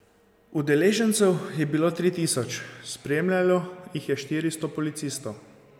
Udeležencev je bilo tri tisoč, spremljalo jih je štiristo policistov.